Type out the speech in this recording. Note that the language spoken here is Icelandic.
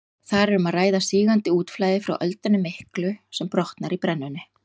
Þar er um að ræða sígandi útflæði frá öldunni miklu sem brotnar í brennunni.